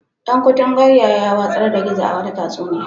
Dankutungayya ya wahar da Gizo a wata tatsuniya.